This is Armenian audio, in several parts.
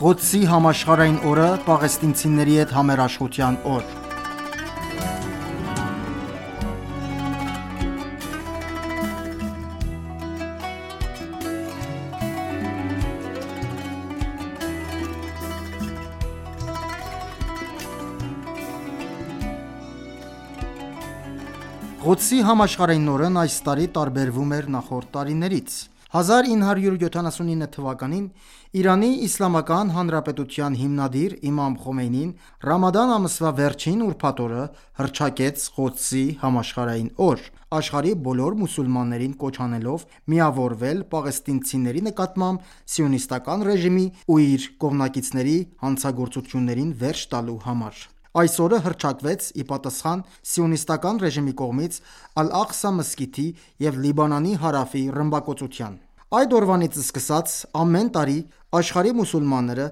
Ղոդսի համաշխարհային օրը՝ պաղեստինիցների հետ համերաշխության օր Ղոդսի համաշխարհային օրն այս տարի տարբերվում է նախորդ տարիներից։ 1979թ․ ԻԻՀ հիմնադիր իմամ Խոմեյնին ռամադան ամսվա վերջին ուրբաթ օրը հռչակեց Ղոդսի համաշխարհային օր, աշխարհի բոլոր մուսուլմաններին կոչ անելով միավորվել՝ պաղեստինցիների նկատմամբ Սիոնիստական ռեժիմի ու իր կողմնակիցների հանցագորխծություններին վերջ տալու համար։ Այս օրը հռչակվեց ի պատասխան Սիոնիստական ռեժիմի կողմից Ալ Աղսա մզկիթի և Լիբանանի հարավի ռմբակոծության։ Այդ օրվանից սկսած, ամեն տարի, աշխարհի մուսուլմանները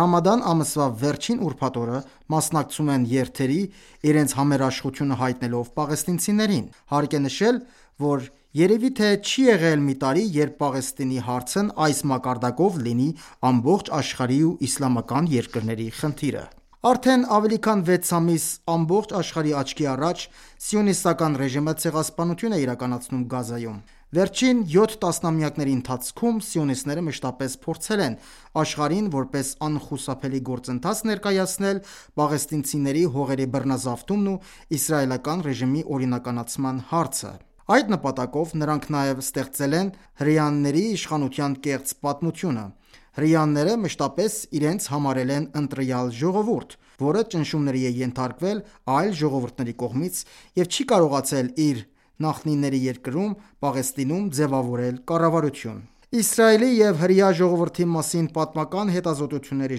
ռամադան ամսվա վերջին ուրբաթ օրը մասնակցում են երթերի, իրենց համերաշխությունը հայտնելով պաղեստինցիներին։ Հարկ է նշել, որ երևի թե չի եղել մի տարի, երբ Պաղեստինի հարցն այս մակարդակով լինի ամբողջ աշխարհի ու իսլամական երկրների խնդիրը։ Արդեն ավելի քան վեց ամիս, ամբողջ աշխարհի աչքի առաջ, Սիոնիստական ռեժիմը ցեղասպանություն է իրականացնում Գազայում։ Վերջին 7 տասնամյակների ընթացքում սիոնիստները մշտապես փորձել են աշխարհին որպես անխուսափելի գործընթաց ներկայացնել պաղեստինցիների հողերի բռնազավթումն ու իսրայելական ռեժիմի օրինականացման հարցը։ Այդ նպատակով նրանք նաև ստեղծել են հրաների իշխանության կեղծ պատմությունը։ Հրեաները մշտապես իրենց համարել են ընտրյալ ժողովուրդ, որը ճնշումների է ենթարկվել այլ ժողովուրդների կողմից և չի կարողացել իր նախնիների երկրում՝ Պաղեստինում, ձևավորել կառավարություն։ Իսրայելի և հրեա ժողովրդի մասին պատմական հետազոտությունների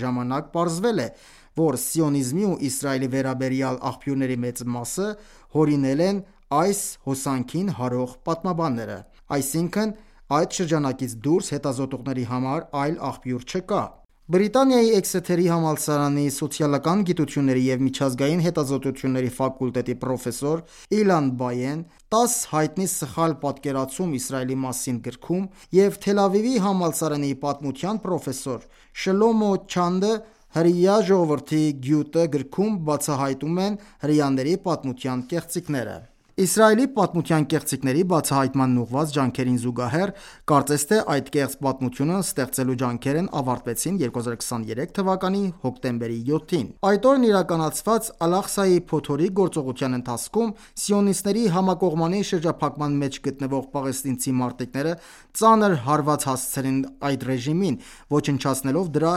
ժամանակ պարզվել է, որ սիոնիզմի ու Իսրայելի վերաբերյալ աղբյուրների մեծ մասը հորինել են այս հոսանքին հարող պատմաբանները։ Այսինքն՝ այդ շրջանակից դուրս հետազոտությունների համար այլ աղբյուր չկա։ Մեծ Բրիտանիայի Էքսեթերի համալսարանի սոցիալական գիտությունների և միջազգային հետազոտությունների ֆակուլտետի պրոֆեսոր Իլան Բայեն «10 հայտնի սխալ պատկերացում Իսրայելի մասին» գրքում և Թել Ավիվի համալսարանի պատմության պրոֆեսոր Շլոմո Զանդը «Հրեա ժողովրդի գյուտը» գրքում, բացահայտեւմ են հրեաների պատմության կեղծիքները։ Իսրայելի պատմության կեղծիքների բացահայտմանն ուղղված ջանքերին զուգահեռ, կարծես թե այդ կեղծ պատմությունը ստեղծելու ջանքերն ավարտվեցին 2023թ հոկտեմբերի 7-ին։ Այդ օրն իրականացված «Ալ-Աղսայի» փոթորիկ գործողության ընթացքում սիոնիստների համակողմանի շրջափակման մեջ գտնվող պաղեստինցի մարտիկները ծանր հարված հասցրին ռեժիմին, ոչնչացնելով դրա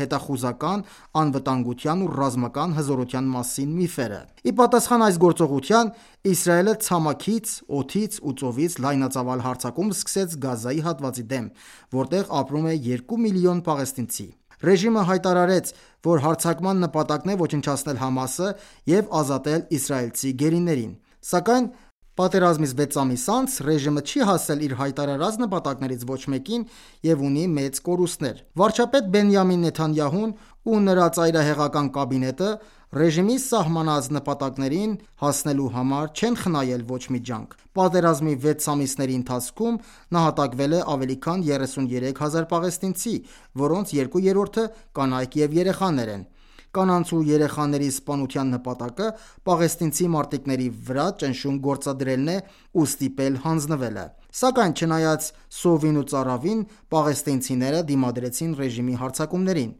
հետախուզական, անվտանգության ու ռազմական հզորության մասին միֆերը։ Ի պատասխան այս գործողության, Իսրայելը ցամաքից, օդից ու ծովից լայնածավալ հարձակում սկսեց Գազայի հատվածի դեմ, որտեղ ապրում է 2 միլիոն պաղեստինցի։ Ռեժիմը հայտարարեց, որ հարձակման նպատակն է ոչնչացնել ՀԱՄԱՍ-ը և ազատել իսրայելցի գերիներին։ Սակայն պատերազմից վեց ամիս անց, ռեժիմը չի հասել իր հայտարարած նպատակներից ոչ մեկին և ունի մեծ կորուստներ։ Վարչապետ Բենիամին Նեթանյահուն ու նրս ծայրահեղական կաբինետը ռեժիմի սահմանած նպատակներին ահսնելու համար չեն խնայել ոչ մի ջանք։ Պատերազմի վեց ամիսների ընթացքում նահատակվել է ավելի քան 33 հազար պաղեստինցի, որոնց երկու երրորդը կանայք և երեխաներ են։ Կանանց ու երեխաների սպանության նպատակը պաղեստինցի մարտիկների վրա ճնշում գործադրելն է ու ստիպել հանձնվելը։ Սակայն չնայած սովին ու ծարավին, պաղեստինիցները դիմադրեցին ռեժիմի հարձակումներին։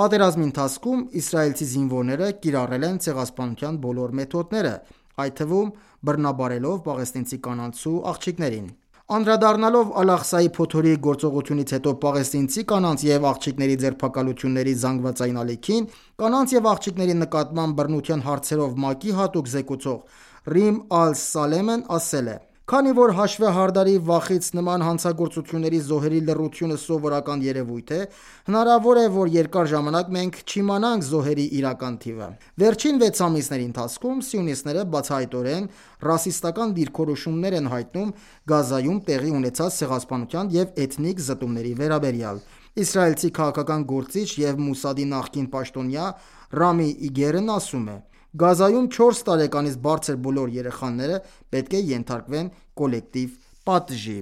Պատերազմի ընթացքում իսրայելցի զինվորները կիրառել են ցեղասպանության բոլոր մեթոդները, այդ թվում՝ բռնաբարելով պաղեստինցի կանանց ու աղջիկներին։ Անդրադառնալով «Ալ Աղսայի փոթորիկ» գործողությունից հետո պաղեստինցի կանանց և աղջիկների ձերբակալությունների զանգվածային ալիքին, կանանց և աղջիկների նկատմամբ բռնության հարցերով ՄԱԿ-ի հատուկ զեկուցող Ռիմ Ալ Սալեմն ասել է․ «Քանի որ հաշվեհարդարի վախից նման հանցագործությունների զոհերի լռությունը սովորական երևույթ է, հնարավոր է, որ երկար ժամանակ մենք չիմանանք զոհերի իրական թիվը»։ Վերջին վեց ամիսների ընթացքում սիոնիստները բացահայտորեն ռասիստական դիրքորոշումներ են հայտնում Գազայում տեղի ունեցած ցեղասպանության և էթնիկ զտումների վերաբերյալ։ Իսրայելցի քաղաքական գործիչ և Մոսադի նախկին պաշտոնյա Ռամի Իգերն ասում է. «Գազայում 4 տարեկանից բարձր բոլոր երեխաները պետք է ենթարկվեն կոլեկտիվ պատժի»։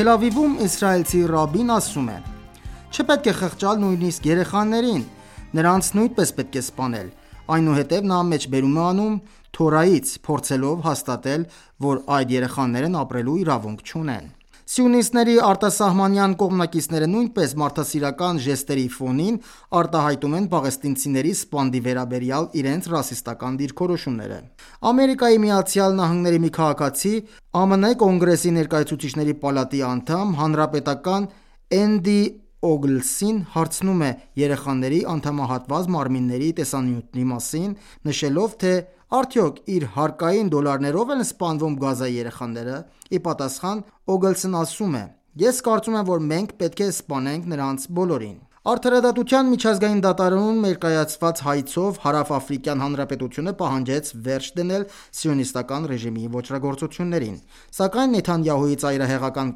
Թել Ավիվում իսրայելացի ռաբբին ասում է. «Չպետք է խղճալ նույնիսկ երեխաներին։ Նրանց նույնպես պետք է սպանել»։ Այնուհետև նա մեջբերում է անում Թորայից, փորձելով հաստատել, որ այդ երեխաներն ապրելու իրավունք չունեն: Սիոնիստների արտասահմանյան կողմնակիցները նույնպես մարդասիարական ժեստերի ֆոնին արտահայտում են պաղեստինցիների սպանդի վերաբերյալ իրենց ռասիստական դիրքորոշումները։ ԱՄՆ մի քաղաքացի, ԱՄՆ Կոնգրեսի Ներկայացուցիչների պալատի անդամ, հանրապետական Էնդի Օգլսին հարցնում է երեխաների անդամահատված մարմինների տեսանյութի մասին, նշելով, թե արդյոք իր հարկային դոլարներով են սպանվում Գազայի երեխաները։ Ի պատասխան, Օգլսն ասում է․ «Ես կարծում եմ, որ մենք պետք է սպանենք նրանց բոլորին»: Արդարադատության միջազգային դատարանում ներկայացրած հայցով Հարավաֆրիկյան Հանրապետությունը պահանջեց վերջ դնել Սիոնիստական ռեժիմի ոճրագործություններին։ Սակայն Նեթանյահուի ծայրահեղական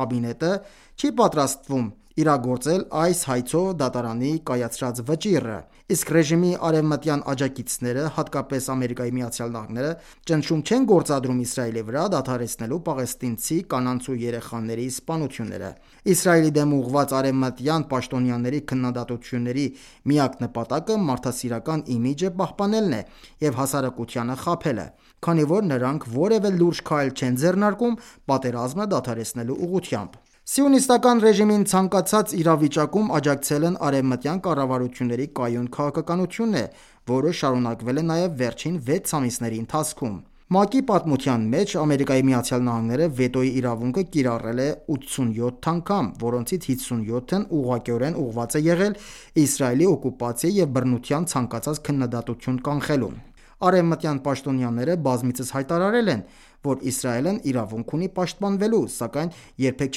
կաբինետը չի պատրաստվում իրագործել այս հայցով դատարանի կայացրած վճիռը։ Իսկ ռեժիմի արևմտյան աջակիցները, հատկապես ԱՄՆ-ը, ճնշում չեն գործադրում Իսրայելի վրա՝ դադարեցնելու պաղեստինցի կանանց ու երեխաների սպանությունները։ Իսրայելի դեմ ուղղված արևմտյան պաշտոնյաների քննադատությունների միակ նպատակը մարդասիրական իմիջը պահպանելն է և հասարակությանը խաբելը։ Քանի որ նրանք որևէ լուրջ քայլ չեն ձեռնարկում՝ պատերազմը դադարեցնելու ուղղությամբ։ Սիոնիստական ռեժիմին ցանկացած իրավիճակում աջակցելն արևմտյան կառավարությունների կայուն քաղաքականությունն է, որը շարունակվել է նաև վերջին վեց ամսիների ընթացքում։ ՄԱԿ-ի պատմության մեջ ԱՄՆ-ն վետոյի իրավունքը կիրառել է 87 անգամ, որոնցից 57-ն ուղղակիորեն ուղղված է եղել Իսրայելի օկուպացիայի և բռնության ցանկացած քննադատություն կանխելուն: Արևմտյան պաշտոնյաները բազմիցս հայտարարել են, որ «Իսրայելն իրավունք ունի պաշտպանվելու», սակայն երբեք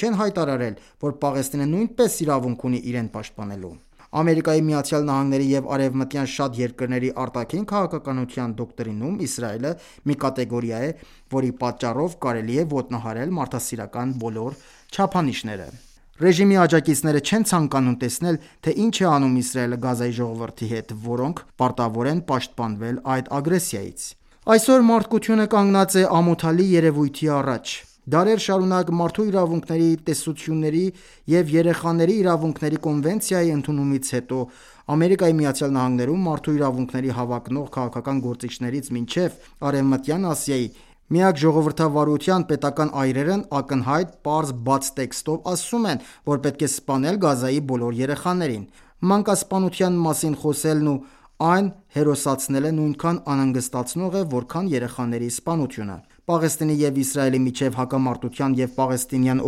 չեն հայտարարել, որ «Պաղեստինը նույնպես իրավունք ունի իրեն պաշտպանելու»։ ԱՄՆ-ի և արևմտյան շատ երկրների արտաքին քաղաքականության դոկտրինում Իսրայելը մի կատեգորիա է, որի պատճառով կարելի է ոտնահարել մարդասիրական բոլոր չափանիշները։ Ռեժիմի աջակիցները չեն ցանկանում տեսնել, թե ինչ է անում իսրայելը Գազայի ժողովրդի հետ, որոնք պարտավոր են պաշտպանվել այդ ագրեսիայից։ Այսօր մարդկությունը կանգնած է ամոթալի երևույթի առաջ։ Դարեր շարունակ մարդու իրավունքների տեսությունների և երեխաների իրավունքների կոնվենցիայի ընդունումից հետո, ԱՄՆ-ում մարդու իրավունքների հավակնող քաղաքական գործիչներից մինչև Արևմտյան Ասիայի «միակ ժողովրդավարության» պետական այրերն ակնհայտ, պարզ, բաց տեքստով ասում են, որ պետք է սպանել Գազայի բոլոր երեխաներին։ Մանկասպանության մասին խոսելն ու այն հերոսացնելը նույնքան անհանգստացնող է, որքան երեխաների սպանությունը։ Պաղեստինի և Իսրայելի միջև հակամարտության և պաղեստինյան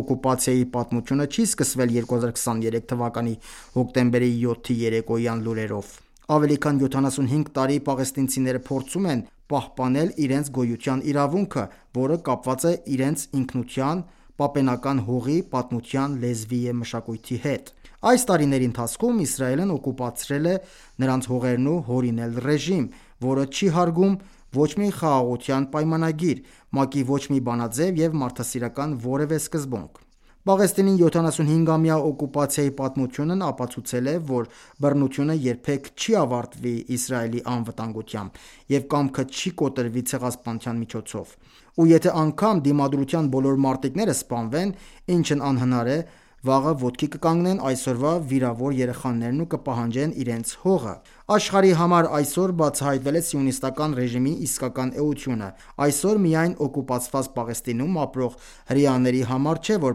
օկուպացիայի պատմությունը չի սկսվել 2023 թվականի հոկտեմբերի 7-ի երեկոյան լուրերով: Ավելի քան 75 տարի պաղեստինցիները փորձում են պահպանբել իրենց գոյության իրավունքը, որը կապված է իրենց ինքնության՝ պապենական հողի, պատմության, լեզվի և մշակույթի հետ։ Այս տարիների ընթացքում Իսրայելն օկուպացրել է նրանց հողերն ու հորինել ռեժիմ, որը չի հարգում է ոչ մի խաղաղության պայմանագիւր, ՄԱԿ-ի ոչ մի բանաձև և մարդաիսրական որևէ սկզբունք։ Պաղեստինի 75-ամյա օկուպացիայի պատմությունն ապացուցել է, որ բռնությունը երբեք չի ավարտվի Իսրայելի անվտանգությամբ, և կամքը չի կոտրվի ցեղասպանության միջոցով։ Ու եթե անգամ Դիմադրության բոլոր մարտիկները սպանվեն, ինչն անհնար է, վաղը ոտքի կկանգնեն այսօրվա վիրավոր երեխաներն ու կպահանջեն իրենց ոհղը։ Աշխարհի համար այսօր բացահայտվել է Սիոնիստական ռեժիմի իսկական էությունը։ Այսօր միայն օկուպացված Պաղեստինում ապրող հրեաների համար չէ, որ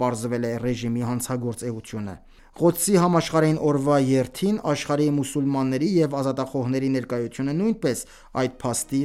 պարզվել է ռեժիմի հանցագործ էությունը։ Ղուդի համաշխարհային օրվա երթին աշխարհի մուսուլմանների և ազատախոհների ներկայությունը նույնպես այդ փաստի